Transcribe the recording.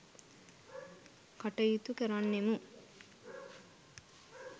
කටයුතු කරන්නෙමු.